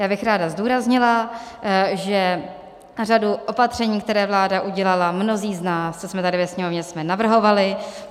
Já bych ráda zdůraznila, že řadu opatření, které vláda udělala, mnozí z nás, co jsme tady ve Sněmovně, jsme navrhovali.